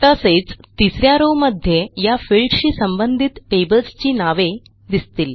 तसेच तिस या रॉव मध्ये या फिल्डशी संबंधित टेबल्सची नावे दिसतील